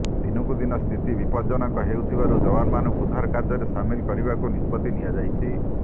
ଦିନକୁ ଦିନ ସ୍ଥିତି ବିପଦଜ୍ଜନକ ହେଉଥିବାରୁ ଯବାନମାନଙ୍କୁ ଉଦ୍ଧାର କାର୍ଯ୍ୟରେ ସାମିଲ କରିବାକୁ ନିଷ୍ପତ୍ତି ନିଆଯାଇଛି